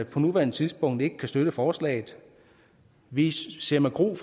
på nuværende tidspunkt ikke kan støtte forslaget vi ser med gru